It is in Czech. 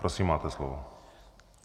Prosím, máte slovo.